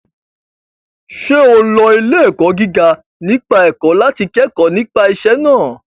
Ṣé o lọ ilé-ẹ̀kọ́ gíga nípa ẹ̀kọ́ láti kẹ́kọ̀ọ́ nípa iṣẹ́ náà?